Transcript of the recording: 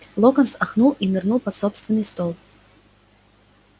локонс охнул и нырнул под собственный стол